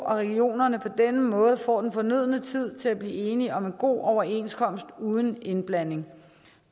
regionerne på denne måde får den fornødne tid til at blive enige om en god overenskomst uden indblanding